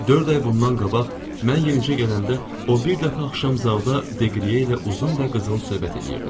Dörd ay bundan qabaq mən yenicə gələndə o bir dəfə axşam zalda Deqriye ilə uzun və qızğın söhbət eləyirdi.